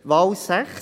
Wahl 6